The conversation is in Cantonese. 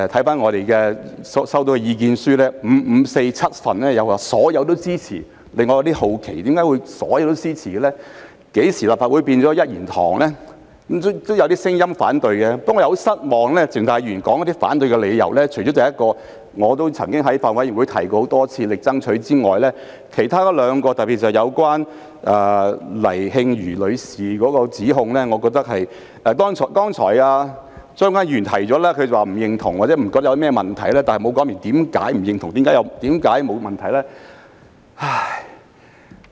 不過，我感到非常失望的是，鄭松泰議員提出反對的理由，除了我在法案委員會上多次提出和極力爭取的一點外，其餘兩點，特別是有關黎穎瑜女士的指控，我認為......剛才張國鈞議員表示不認同或認為沒有問題，但他沒有說明為何不認同、為何沒有問題。